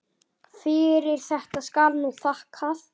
Fyrir þetta skal nú þakkað.